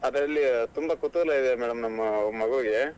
ಅದರಲ್ಲಿ ತುಂಬಾ ಕುತೂಹಲ ಇದೆ madam ನಮ್ಮ್ ಮಗುವಿಗೆ ,